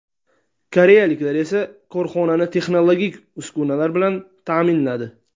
Koreyaliklar esa korxonani texnologik uskunalar bilan ta’minladi.